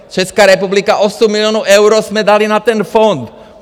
Česká republika, osm milionů eur jsme dali na ten fond!